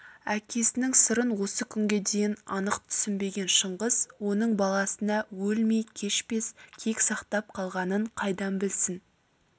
әкесінің сырын осы күнге дейін анық түсінбеген шыңғыс оның баласына өлмей кешпес кек сақтап қалғанын қайдан білсін